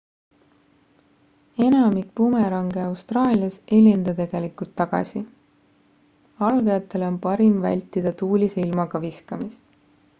enamik bumerange austraalias ei lenda tegelikult tagasi algajatele on parim vältida tuulise ilmaga viskamist